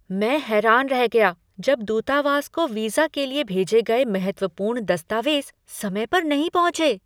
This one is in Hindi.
मैं हैरान रह गया जब दूतावास को वीजा के लिए भेजे गए महत्वपूर्ण दस्तावेज समय पर नहीं पहुंचे।